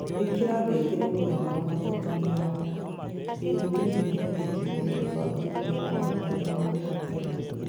Ĩkĩra ngengeremũthenya wa gatatũ mĩaraho. Ĩĩ, nĩ ngwĩyandĩkithia mũbango-inĩ wa andũ arĩa magoka tene.